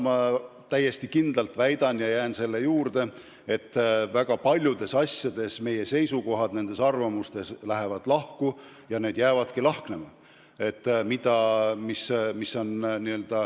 Ma täiesti kindlalt väidan ja jään selle juurde, et väga paljudes asjades meie seisukohad lähevad lahku ja jäävadki lahknema.